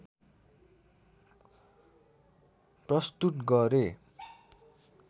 प्रस्तुत गरे